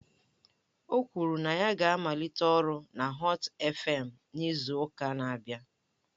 O kwuru na ya ga-amalite ọrụ na Họt eFem n'izu ụka na-abịa.